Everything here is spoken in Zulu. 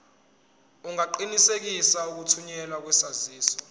ungaqinisekisa ukuthunyelwa kwesaziso